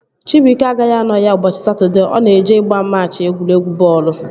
Chibuike agaghị anọ ya ụbọchị Satọdee, ọ na-eje ịgba machị egwuregwu bọọlụ